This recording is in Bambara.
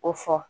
O fɔ